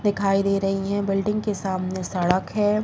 दिखाई दे रही है बिल्डिंग के सामने सड़क है |